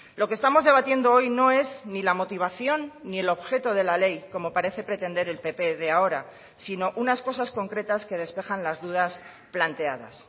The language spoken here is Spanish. lo que estamos debatiendo hoy no es ni la motivación ni el objeto de la ley como parece pretender el pp de ahora sino unas cosas concretas que despejan las dudas planteadas